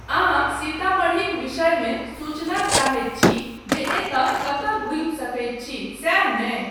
अहाँ सीतामढ़ीक विषयमे सूचना चाहैत छी जे एतय कतय घुमि सकैत छी, सैह नहि ?